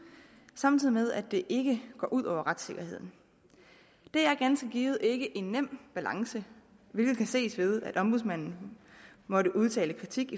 samtidig med at det ikke går ud over retssikkerheden det er ganske givet ikke en nem balance hvilket kan ses ved at ombudsmanden måtte udtale kritik